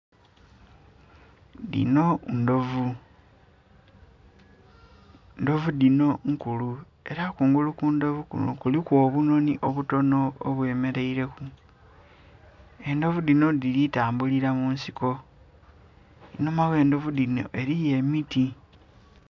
Dhino ndhovu, endhovu dhinho nnkulu era kungulu ku ndhovu kunho kuliku obunhonhi obuninho obwemereire ku endhovu dhinho dhili tambulila munsiko einhuma ghe ndhovu dhinho eriyo emiti.